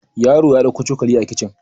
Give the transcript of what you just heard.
yaro ya dauko cokali a kicin